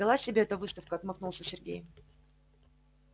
далась тебе эта выставка отмахнулся сергей